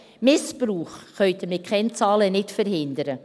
Missbrauch können Sie mit Kennzahlen nicht verhindern.